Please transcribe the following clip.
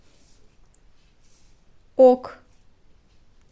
ок